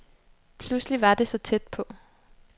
Pludselig var det så tæt på.